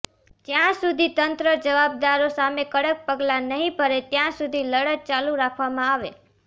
જયાં સુધી તંત્ર જવાબદારો સામે કડક પગલા નહી ભરે ત્યાં સુધી લડત ચાલુ રાખવામાં આવે